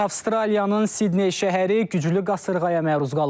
Avstraliyanın Sidney şəhəri güclü qasırğaya məruz qalıb.